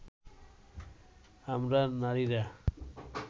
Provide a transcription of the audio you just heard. আমরা নারীরা